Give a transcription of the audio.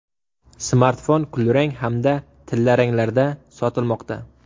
Smartfon kulrang hamda tillaranglarda sotilmoqda.